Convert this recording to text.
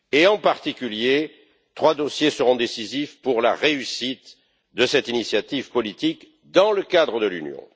En particulier, trois dossiers seront décisifs pour la réussite de cette initiative politique dans le cadre de l'Union.